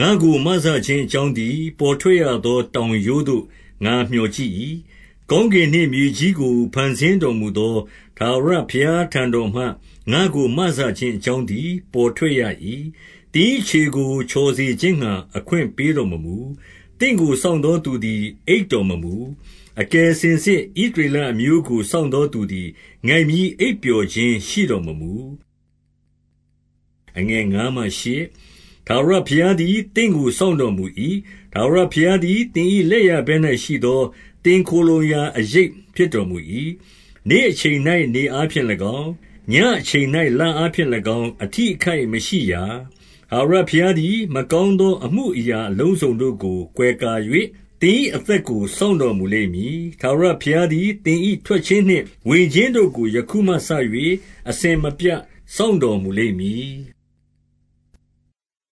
ငါ့ကိုမစခြင်း အကြောင်းသည် ပေါ်ထွက်ရ သော တောင်ရိုးသို့ ငါမျှော်ကြည့်၏။ 2 ကော်းကင်နှင့်မြေကြီးကို ဖန်ဆင်းတော်မူသော ထာဝရဘုရား ထံတော်မှ၊ ငါ့ကို မစခြင်းအကြောင်းသည် ပေါ်ထွက်ရ၏။ 3 သင်၏ ခြေကို ချော်စေခြင်းငှါ အခွင့်ပေးတော် မမူ။ သင့်ကို စောင့်သောသူသည် အိပ်တော်မမူ။ 4 အကယ်စင်စစ် ဣသရေလအမျိုးကို စောင့် သောသူသည် ငိုက်မျဉ်းအိပ်ပျော်ခြင်း ရှိတော်မမူ။ 5 ထာဝရဘုရားသည် သင့်ကို စောင့်တော်မူ၏။ ထာဝရဘုရားသည် သင်၏လက်ျာဘက်၌ရှိသော သင်ခိုလှုံရာ အရိပ်ဖြစ်တော်မူ၏။ 6 နေ့အချိန်၌ နေအားဖြင့်၎င်း၊ ညဉ့်အချိန်၌ လအားဖြင့်၎င်း အထိအခိုက်မရှိရာ။ 7 ထာဝရဘုရားသည် မကောင်းသောအမှုအရာ အလုံးစုံတို့ကို ကွယ်ကာ၍၊ သင်၏အသက်ကို စောင့်တော် မူလိမ့်မည်။ 8 ထာဝရဘုရားသည် သင်၏ ထွက်ခြင်းနှင့် ဝင်ခြင်းတို့ကို ယခုမှစ၍ အစဉ်အပြတ် စောင့်တော်မူ လိမ့်မည်။